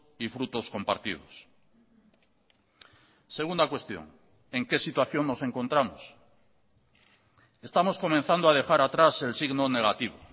y frutos compartidos segunda cuestión en qué situación nos encontramos estamos comenzando a dejar atrás el signo negativo